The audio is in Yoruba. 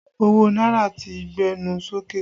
Owó náírà ti gbẹnu sókè